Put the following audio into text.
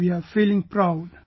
We are feeling proud